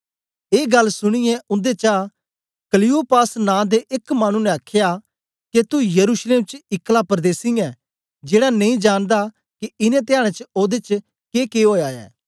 ए गल्ल सुनीयै उन्देचा क्लियोपास नां दे एक मानु ने आखया के तू यरूशलेम च ईक्ला परदेसी ऐं जेड़ा नेई जानदा के इनें धयाडें च ओदे च के के ओया ऐ